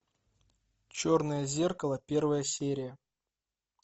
черное зеркало первая серия